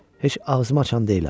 Heç ağzımı açan deyiləm.